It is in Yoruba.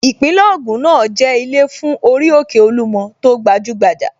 Ìpínlẹ̀ Ògùn náà jẹ́ ilé fún orí òkè Olúmọ tó gbajúgbajà